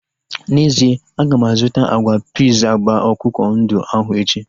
N'ezie, aga m azụta agwa piiz agba akwụkwọ ndụ ahu echi